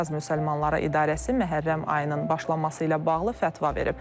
Qafqaz Müsəlmanları İdarəsi Məhərrəm ayının başlaması ilə bağlı fətva verib.